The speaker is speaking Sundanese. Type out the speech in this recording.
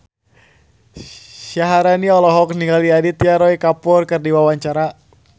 Syaharani olohok ningali Aditya Roy Kapoor keur diwawancara